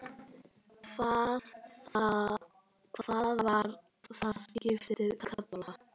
Hvað var það skip kallað?